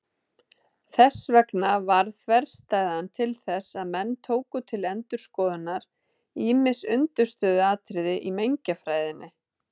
Þess vegna varð þverstæðan til þess að menn tóku til endurskoðunar ýmis undirstöðuatriði í mengjafræðinni.